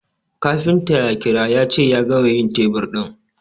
kafinta ya kira yace ya gama yin tebur ɗin